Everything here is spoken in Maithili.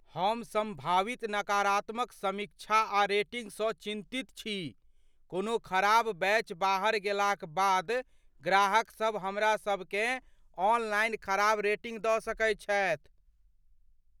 हम संभावित नकारात्मक समीक्षा आ रेटिंग सँ चिन्तित छी, कोनो खराब बैच बाहर गेलाक बाद ग्राहकसभ हमरासभकेँ ऑनलाइन खराब रेटिंग दऽ सकैत छथि।